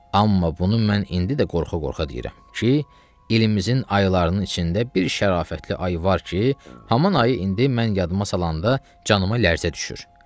Amma bunu mən indi də qorxa-qorxa deyirəm ki, ilimizin aylarının içində bir şərafətli ay var ki, haman ayı indi mən yadıma salanda canıma lərzə düşür.